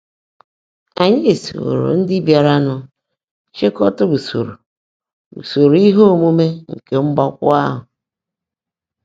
Ányị́ sóòró ndị́ bịáranụ́ chị́kọ́tá úsóró úsóró íhe ómuumé nkè mgbákwọ́ áhụ́.